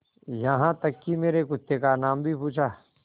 यहाँ तक कि मेरे कुत्ते का नाम भी पूछा